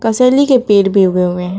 असैली के पेड़ भी उगे हुए हैं।